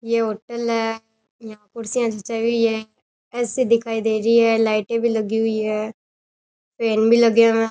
ये होटल है यहां कुर्सियां जचाई हुई है ऐसी दिखाई दे रही है लाइटें भी लगी हुई है फैन भी लगे हुए हैं।